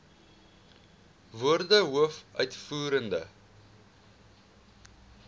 woorde hoof uitvoerende